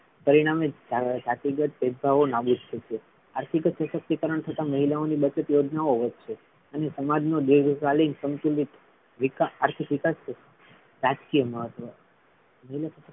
પરિણામે ભેદભાવો નાબુદ થશે. આર્થિક સશક્તિકરણ થતા મહિલાઓની બચત યોજનાઓ વધશે અને સમાજ નો વિકાસ આર્થિક વિકાસ છે રાજકીય મહત્વ